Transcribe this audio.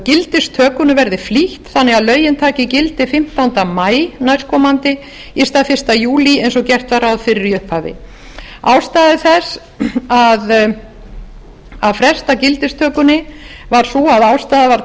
gildistökunni sé flýtt þannig að lögin taki gildi fimmtánda maí næstkomandi í stað fyrsta júlí eins og gert var ráð fyrir í upphafi ástæða þess að fresta gildistökunni var sú að ástæða var